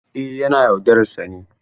Eh yana yaudarar sa ne.